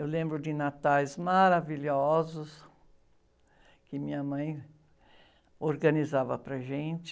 Eu lembro de natais maravilhosos que minha mãe organizava para gente.